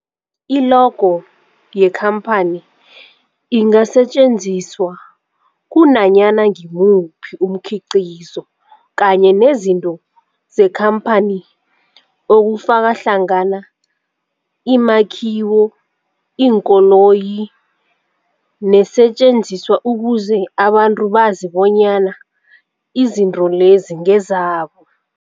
I-logo yekhamphani ingasetjenziswa kunanyana ngimuphi umkhiqizo kanye nezinto zekhamphani okufaka hlangana imakhiwo, iinkoloyi neesentjenziswa ukuze abantu bazi bonyana izinto lezo ngezabo.